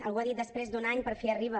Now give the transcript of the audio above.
algú ha dit després d’un any per fi arriba